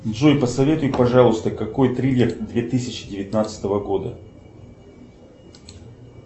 джой посоветуй пожалуйста какой триллер две тысячи девятнадцатого года